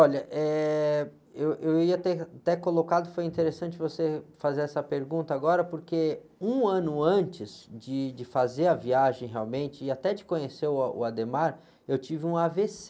Olha, eh, eu, eu ia ter até colocado, foi interessante você fazer essa pergunta agora, porque um ano antes de, de fazer a viagem realmente e até de conhecer o o Adhemar, eu tive um á-vê-cê.